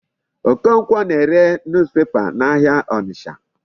Okonkwo na-ere newspaper n'ahịa Ọnịcha.